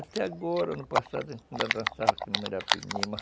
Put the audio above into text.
Até agora, no passado, a gente ainda dançava